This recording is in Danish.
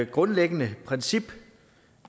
grundlæggende princip